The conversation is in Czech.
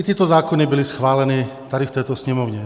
I tyto zákony byly schváleny tady v této Sněmovně.